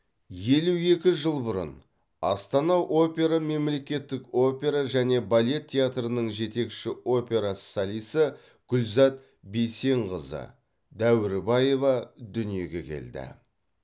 елу екі жыл бұрын астана опера мемлекеттік опера және балет театрының жетекші опера солисі гүлзат бейсенқызы дәуірбаева дүниеге келді